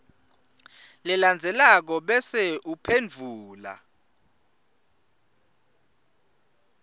lelandzelako bese uphendvula